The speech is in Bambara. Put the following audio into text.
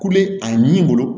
Kule a ɲimi bolo